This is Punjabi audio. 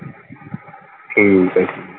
ਠੀਕ ਆ ਠੀਕ।